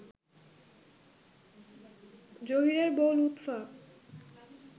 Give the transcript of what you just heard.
জহীরের বউ লুৎফা